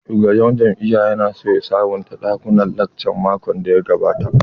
Shugaban jami'an ya na so ya sabonta ɗakunan lacca makon da ya gabata